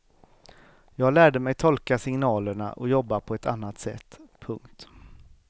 Jag lärde mig tolka signalerna och jobba på ett annat sätt. punkt